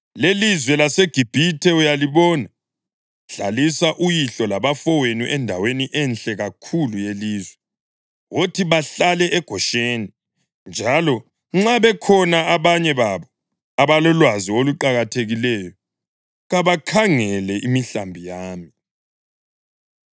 lelizwe laseGibhithe uyalibona; hlalisa uyihlo labafowenu endaweni enhle kakhulu yelizwe. Wothi bahlale eGosheni. Njalo nxa bekhona abanye babo abalolwazi oluqakathekileyo, kabakhangele imihlambi yami.”